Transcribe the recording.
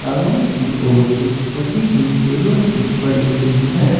सामने कि ओर एक सजी हुई टेबल भी पड़ी हुई है।